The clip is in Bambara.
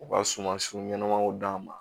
U ka sumansiw ɲɛnamaw d'a ma